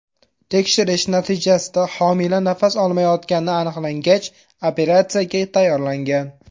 Tekshirish natijasida homila nafas olmayotgani aniqlangach, operatsiyaga tayyorlangan.